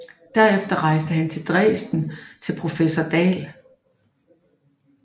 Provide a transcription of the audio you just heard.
Derefter rejste han til Dresden til professor Dahl